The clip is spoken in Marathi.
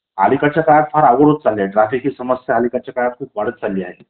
अलीकडच्या काळात फार अवघड होत चालाय . ट्रॅफिक हि समस्या अलीकडच्या काळात खूप वाढत चालली आहे